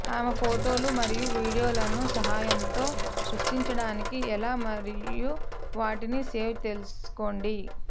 ఆమె ఫోటోలు మరియు వీడియోలను సహాయంతో సృష్టించడానికి ఎలా మరియు వాటిని సేవ్ తెలుసుకోండి